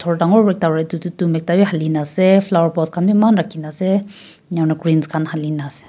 dangor wra ekta ra tu tum te wi halina ase flower pot khan bi eman rakhina ase enya kurna greens khan halina ase.